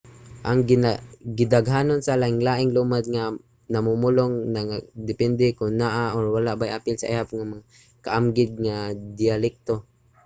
ang gidaghanon sa lain-laing lumad nga mamumulong nagadepende kon naa or wala bay apil sa ihap ang mga kaamgid nga diyalekto